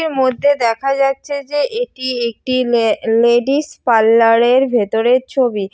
এর মধ্যে দেখা যাচ্ছে যে এটি একটি লে লেডিস পার্লার -এর ভেতরের ছবি।